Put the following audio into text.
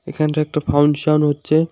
এখানটায় একটা function function হচ্ছে।